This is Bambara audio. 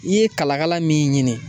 I ye kalakala min ɲini.